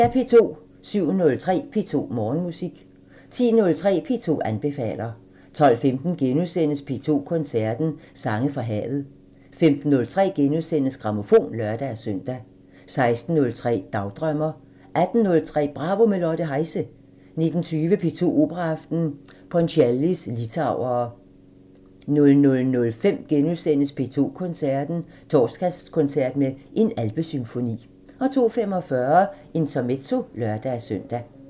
07:03: P2 Morgenmusik 10:03: P2 anbefaler 12:15: P2 Koncerten – Sange fra havet * 15:03: Grammofon *(lør-søn) 16:03: Dagdrømmer 18:03: Bravo – med Lotte Heise 19:20: P2 Operaaften – Ponchiellis litauere 00:05: P2 Koncerten – Torsdagskoncert med En alpesymfoni * 02:45: Intermezzo (lør-søn)